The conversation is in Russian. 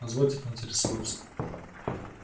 позвольте поинтересоваться